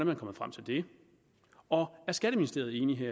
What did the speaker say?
man kommet frem til det og er skatteministeriet enig